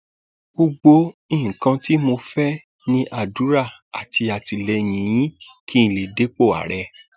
gbogbo nǹkan tí mo fẹ ní àdúrà àti àtìlẹyìn yín kí n lè dépò ààrẹ